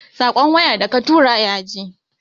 Saƙon waya da katura yaje?